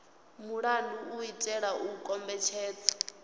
mulandu u itela u kombetshedza